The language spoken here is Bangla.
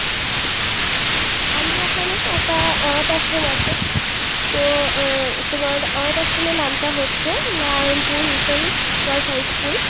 আমি ওখানে একটা অনাথ আশ্রম আছে তো তোমার অনাথ আশ্রমের নাম টা হচ্ছে Narayanpur mission girls high school